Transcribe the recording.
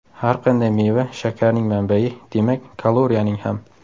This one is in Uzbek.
Har qanday meva shakarning manbai, demak kaloriyaning ham.